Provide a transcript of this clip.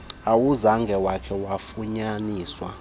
awuzange wakha wafunyaniswa